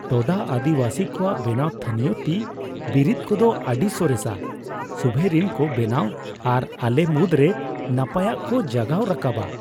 ᱴᱳᱰᱟ ᱟᱹᱫᱤᱵᱟᱹᱥᱤ ᱠᱚᱣᱟᱜ ᱵᱮᱱᱟᱣ ᱛᱷᱟᱹᱱᱤᱭᱚ ᱛᱤᱼᱵᱤᱨᱤᱫ ᱠᱚᱫᱚ ᱟᱹᱰᱤ ᱥᱚᱨᱮᱥᱟ ᱥᱩᱵᱷᱮᱨᱤᱱ ᱠᱚ ᱵᱮᱱᱟᱣᱟ ᱟᱨ ᱟᱞᱮ ᱢᱩᱫᱽᱨᱮ ᱱᱟᱯᱟᱭᱟᱜ ᱠᱚ ᱡᱟᱜᱟᱣ ᱨᱟᱠᱟᱵᱟ ᱾